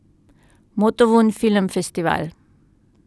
Motovun Film Festival.